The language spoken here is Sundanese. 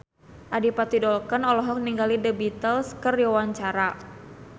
Adipati Dolken olohok ningali The Beatles keur diwawancara